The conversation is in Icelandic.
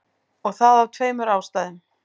Og það af tveimur ástæðum.